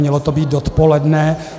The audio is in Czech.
Mělo to být dopoledne.